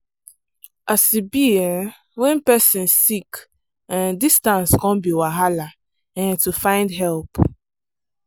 as e be um when person sick um distance come be wahala um to find help.